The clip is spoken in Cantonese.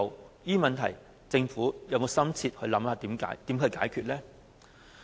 對於這些問題，政府可曾深切研究應如何解決？